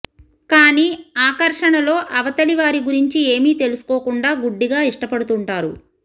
కానీ ఆకర్షణలో అవతలి వారి గురించి ఏమీ తెలుసుకోకుండా గుడ్డిగా ఇష్టపడుతుంటారు